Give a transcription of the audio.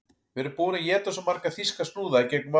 Við erum búin að éta svo marga þýska snúða í gegnum árin